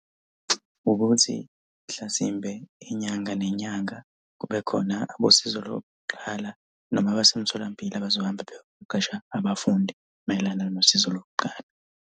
Ukuthi mhlasimbe inyanga nenyanga kube khona abosizo lokuqala noma abasemtholampilo abazohamba beyoqeqesha abafundi mayelana nosizo lokuqala.